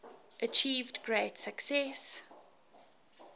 achieved great success